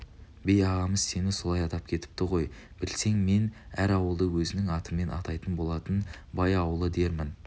би ағамыз сені солай атап кетіпті ғой білсең мен әр ауылды өзінің атымен атайтын болатын бай ауылы дермін